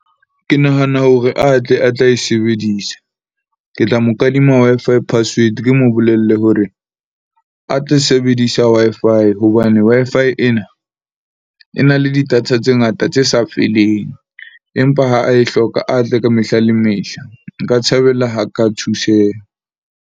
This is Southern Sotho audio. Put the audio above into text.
Ke nahana hore a tle a tla e sebedisa. Ke tla mo kadima Wi-Fi password. Ke mo bolelle hore a tle sebedisa Wi-Fi hobane Wi-Fi ena, e na le di-data tse ngata tse sa feleng. Empa ha a e hloka a tle ka mehla le mehla. Nka thabela ha ka thuseha.